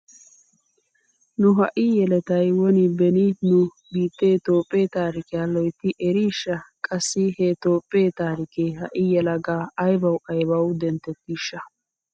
Nu ha"i yeletay woni beni nu biittee toophphee taarikiya loytti eriishsha? Qassi he toophphee taarikee ha"i yelagaa aybawu aybawu denttettiishsha?